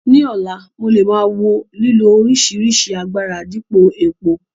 Ní ọ̀la, mo lè máa wo lílo oríṣìíríṣìí agbára dípò epo.